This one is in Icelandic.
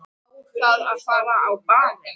Á það að fara á barinn?